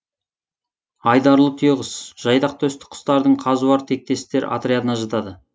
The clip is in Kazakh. айдарлы түйеқұс жайдақ төсті құстардың қазуар тектестер отрядына жатады